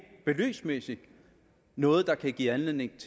beløbsmæssigt noget der kan give anledning